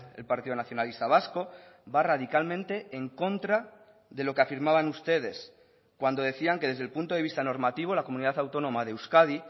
el partido nacionalista vasco va radicalmente en contra de lo que afirmaban ustedes cuando decían que desde el punto de vista normativo la comunidad autónoma de euskadi